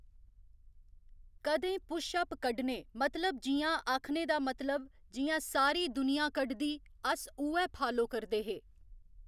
कदें push up कड्ढने मतलब जियां आखने दा मतलब जियां सारी दुनियां कढदी अस उ'ऐ फालो करदे हे